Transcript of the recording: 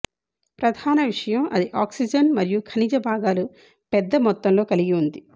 ప్రధాన విషయం అది ఆక్సిజన్ మరియు ఖనిజ భాగాలు పెద్ద మొత్తంలో కలిగి ఉంది